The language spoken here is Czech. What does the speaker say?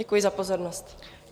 Děkuji za pozornost.